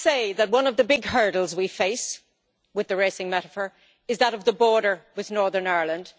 Can I say that one of the big hurdles we face, continuing the racing metaphor, is that of the border with Northern Ireland?